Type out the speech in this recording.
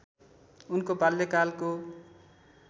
उनको बाल्यकालको